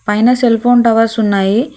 పైన cellphone towers ఉన్నాయి.